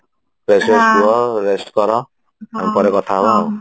fresh fresh ହୁଅ rest କର ତାପରେ କଥା ହବା ଆଉ